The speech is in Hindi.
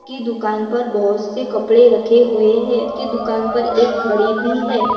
की दुकान पर बहोतसे कपड़े रखे हुए है की दुकान पर एक घड़ी भी है।